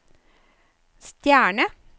stjerne